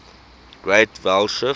great vowel shift